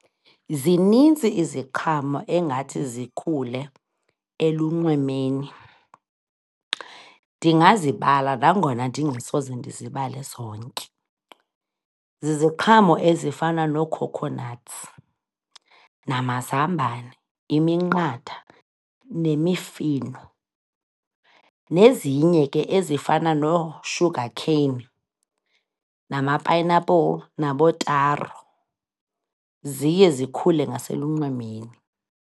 Zinintsi iziqhamo engathi zikhule elunxwemeni. Ndingazibala nangona ndingasoze ndizibale zonke. Ziziqhamo ezifana noo-coconuts namazambane, iminqatha nemifino, nezinye ke ezifana noo-sugar cane nama-pineapple nabootaro. Ziye zikhule ngaselunxwemeni.